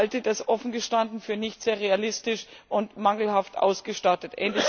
Ich halte das, offen gestanden, für nicht sehr realistisch und mangelhaft ausgestattet.